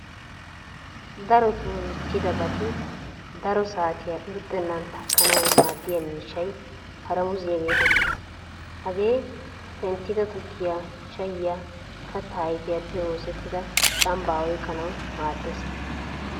Darotto michchidabatti Saro saatiya irxxenan takkanawu maadiya miishahay paaramuziya getetees. Hagee penttida tukkiya, shayiya, katta ayfiyaappe oosettida camba oyqqanawu maadees.